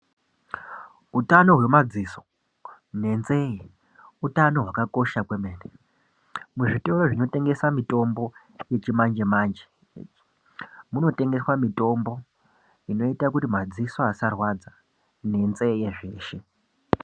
Utano hwemadziso nenzeyi utano hwakakosha kwemene muzvitoro zvinotengese mitombo yechimanje manje munotengeswa mitombo inoita kuti madziso asarwadza nenzeyi zveshe